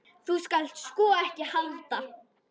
Þú skalt sko ekki halda.